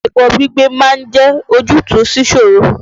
Ẹbọ gbígbé ma ń jẹ́ ojútùú síṣòro.